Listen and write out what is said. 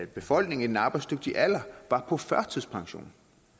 befolkningen i den arbejdsdygtige alder var på førtidspension